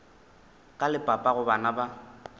ka le papago bana ba